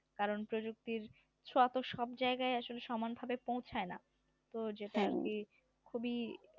কারণ প্রযুক্তির ছোয়া তো সব জায়গায় আসলে সমানভাবে পৌঁছায় না তো যেটা আর কি খুবি